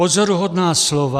Pozoruhodná slova.